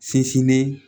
Sinsinnen